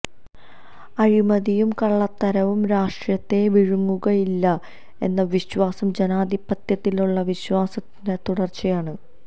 അഴിമതിയും കള്ളത്തരവും രാഷ്ട്രീയത്തെ വിഴുങ്ങുകയില്ല എന്ന വിശ്വാസം ജനാധിപത്യത്തിലുള്ള വിശ്വാസത്തിന്റെ തുടര്ച്ചയാണ്